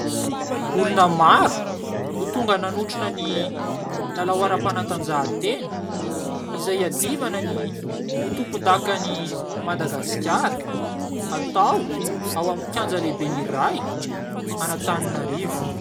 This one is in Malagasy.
Olona maro, no tonga nanotrona ny lalao aram-panatanjahan-tena izay hiadivana ny ho tompondakan'i Madagasikara. Hatao ao amin'ny kianja lehibe iray an'Anantananarivo.